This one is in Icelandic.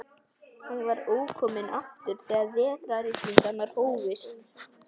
Hann var ókominn aftur þegar vetrarrigningarnar hófust.